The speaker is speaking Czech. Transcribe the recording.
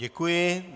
Děkuji.